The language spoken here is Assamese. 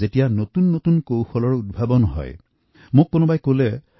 যেতিয়া নতুন নতুন আৱিষ্কাৰৰ কথা জানিবলৈ পোৱা যায় তেতিয়া খুব ভাল লাগে